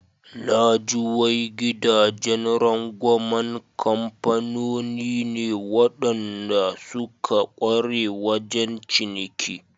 Naji wai gidajen rangwaman kamfanoni ne waɗanda suka ƙware wajen ciniki.